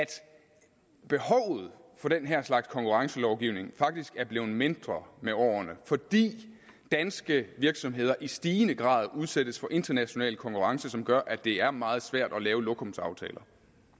behovet for den her slags konkurrencelovgivning faktisk er blevet mindre med årene fordi danske virksomheder i stigende grad udsættes for international konkurrence som gør at det er meget svært at lave lokumsaftaler